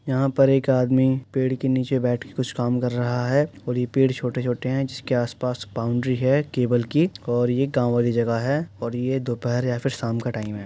यहां पर एक आदमी पेड़ के नीचे बैठके कुछ काम कर रहा है और ये पेड़ छोटे-छोटे हैं जिसके आसपास बॉउन्ड्री है केवल की और ये गांव वाली जगह है और ये दोपहर या फिर शाम का टाईम है।